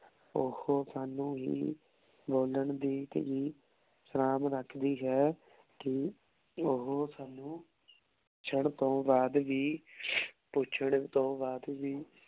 ਓਹੋ ਸਾਨੂ ਹੀ ਬੋਲਣ ਦੀ ਸ੍ਨਾਬ ਰਖਦੀ ਹੈ ਕੀ ਓਹੋ ਸਾਨੂ ਪੁੱਛਣ ਤੋਂ ਬਾਅਦ ਵੀ ਪੁੱਛਣ ਤੋਂ ਬਾਅਦ ਵੀ